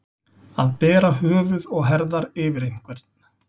Að bera höfuð og herðar yfir einhvern